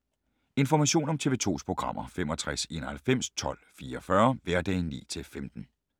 Information om TV 2's programmer: 65 91 12 44, hverdage 9-15.